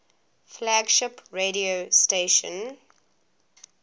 flagship radio station